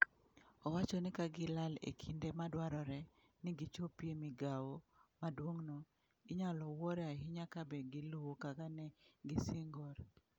Owacho ni ka gilal e kinde madwarore ni gichopie migawo maduong'no, inyalo wuoro ahinya kabe giluwo kaka ne gisingor.